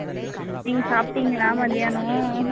நீங்க சாப்பிட்டீங்களா மத்தியானம்.